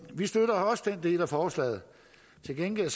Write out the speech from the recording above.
del af forslaget til gengæld